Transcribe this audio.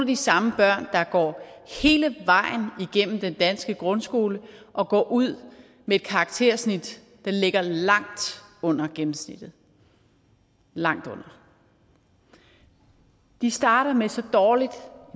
de samme børn der går hele vejen igennem den danske grundskole og går ud med et karaktersnit der ligger langt under gennemsnittet langt under de starter med så dårligt